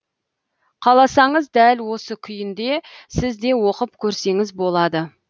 қаласаңыз дәл осы күйінде сіз де оқып көрсеңіз болады